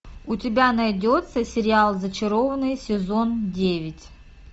у тебя найдется сериал зачарованные сезон девять